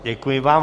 Děkuji vám.